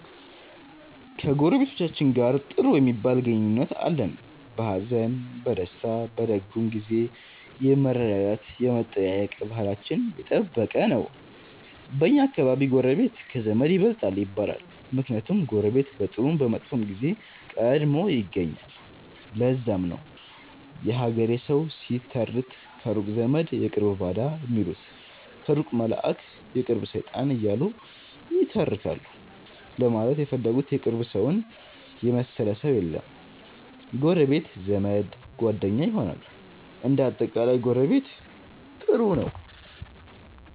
ከጎረቤቶቻችን ጋር ጥሩ ሚባል ግንኙነት አለን። በሀዘን፣ በደስታ፣ በደጉም ጊዜ የመረዳዳት የመጠያየቅ ባህላችን የጠበቀ ነው። በኛ አከባቢ ጎረቤት ከዘመድ ይበልጣል ይባላል። ምክንያቱም ጎረቤት በጥሩም በመጥፎም ጊዜ ቀድሞ ይገኛል። ለዛም ነው የሀገሬ ሠዉ ሲተርት ከሩቅ ዘመድ የቅርብ ባዳ ሚሉት ከሩቅ መላእክ የቅርብ ሠይጣን እያሉ ይተረካሉ ለማለት የፈለጉት የቅርብ ሠውን የመሠለ ሠው የለም ነዉ። ጎረቤት ዘመድ፣ ጓደኛ ይሆናል። እንደ አጠቃላይ ጎረቤት ጥሩ ነው።